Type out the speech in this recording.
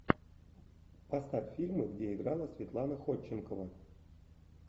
поставь фильмы где играла светлана ходченкова